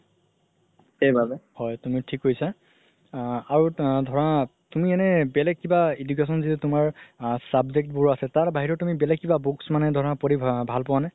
হয় তুমি থিক কৈছা আ আৰু ধৰা তুমি এনে বেলেগ কিবা education যে তুমাৰ subject বোৰ আছে তাৰ বাহিৰেও তুমি বেলেগ কিবা books মানে ধৰা পঢ়ি ভাল পোৱা নে?